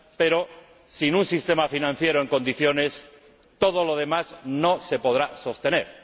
Pero, sin un sistema financiero en condiciones, todo lo demás no se podrá sostener.